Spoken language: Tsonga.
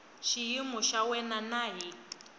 xiyimo xa wena na hi